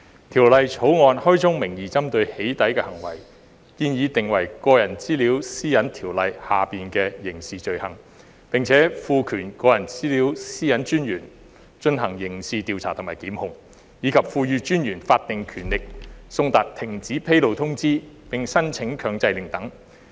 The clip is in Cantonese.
《條例草案》開宗明義針對"起底"行為，建議訂為《個人資料條例》下的刑事罪行，並賦權個人資料私隱專員進行刑事調查和檢控，以及賦予私隱專員法定權力送達停止披露通知並申請強制令等。